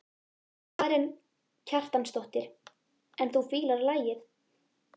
Karen Kjartansdóttir: En þú fílar lagið?